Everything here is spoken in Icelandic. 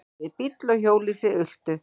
Bæði bíll og hjólhýsi ultu.